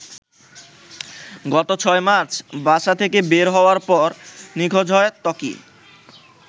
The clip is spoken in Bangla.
গত ৬ মার্চ বাসা থেকে বের হওয়ার পর নিখোঁজ হয় ত্বকি।